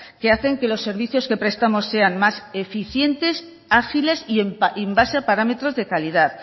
que hacen que los servicios que prestamos sean más eficientes ágiles y en base a parámetros de calidad